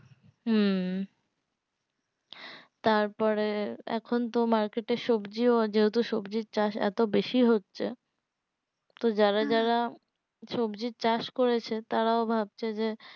হম তারপরে এখন তো market এ সবজি ও যেহেতু সবজির চাষ এতো বেশি হচ্ছে তো যারা যারা হু সবজির চাষ করেছে তারাও ভাবছে যে